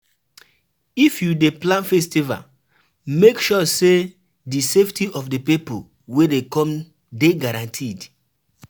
If you dey plan festival, make sure sey di safety of di pipo wey dey come dey guaranteed